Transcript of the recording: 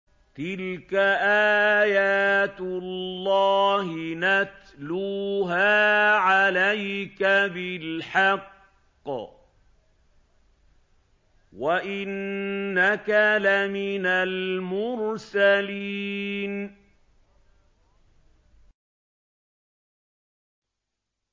تِلْكَ آيَاتُ اللَّهِ نَتْلُوهَا عَلَيْكَ بِالْحَقِّ ۚ وَإِنَّكَ لَمِنَ الْمُرْسَلِينَ